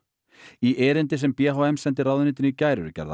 í erindi sem b h m sendi ráðuneytinu í gær eru gerðar